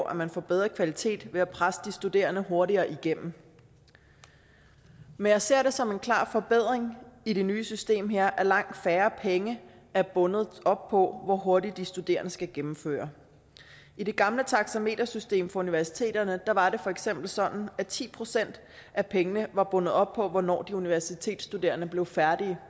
at man får bedre kvalitet ved at presse de studerende hurtigere igennem men jeg ser det som en klar forbedring i det nye system her at langt færre penge er bundet op på hvor hurtigt de studerende skal gennemføre i det gamle taxametersystem for universiteterne var det for eksempel sådan at ti procent af pengene var bundet op på hvornår de universitetsstuderende blev færdige